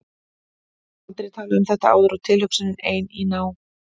Ég hef aldrei talað um þetta áður og tilhugsunin ein, í ná